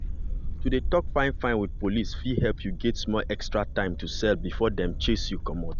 to dey talk fine-fine with police fit help you gain small extra time to sell before dem chase you comot.